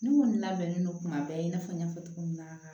Ne kɔni labɛnnen don kuma bɛɛ i n'a fɔ n y'a fɔ cogo min na